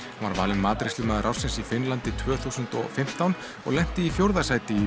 var valinn matreiðslumaður ársins í Finnlandi tvö þúsund og fimmtán og lenti í fjórða sæti í